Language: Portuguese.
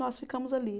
Nós ficamos ali.